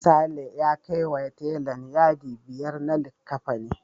Sale ya kaiwa telan yadi biyar na likkafanin.